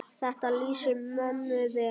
Þetta lýsir mömmu vel.